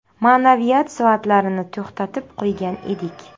Ma’naviyat soatlarini to‘xtatib qo‘ygan edik.